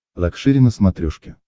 лакшери на смотрешке